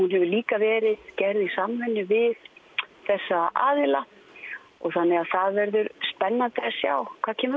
hefur líka verið gerð í samvinnu við þessa aðila þannig að það verður spennandi að sjá hvað kemur